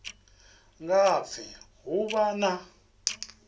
nga pfi ho vha na